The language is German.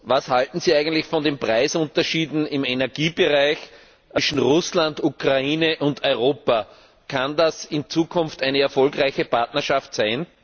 Was halten Sie eigentlich von den Preisunterschieden im Energiebereich zwischen Russland, der Ukraine und Europa? Kann das in Zukunft eine erfolgreiche Partnerschaft sein?